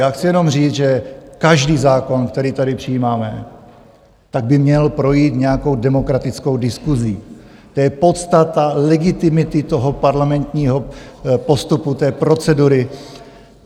Já chci jenom říct, že každý zákon, který tady přijímáme, tak by měl projít nějakou demokratickou diskusí, to je podstata legitimity toho parlamentního postupu, té procedury.